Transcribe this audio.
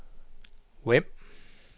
Vemb